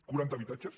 quaranta habitatges